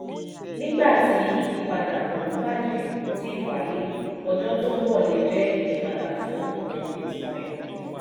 nígbà tí ìyípadà tó ń bàjẹ́ kò tíì wáyé ọjọ́ tó ń bọ̀ lè jẹ́ ìyípadà fún ọ̀nà bitcoin.